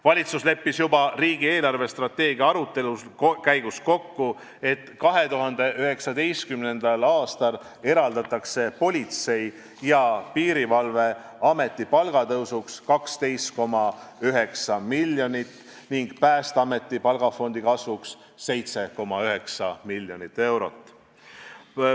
Valitsus leppis juba riigi eelarvestrateegia arutelu käigus kokku, et 2019. aastal eraldatakse Politsei- ja Piirivalveameti palkade tõusuks 12,9 miljonit ning Päästeameti palgafondi kasvuks 7,9 miljonit eurot.